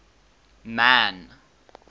man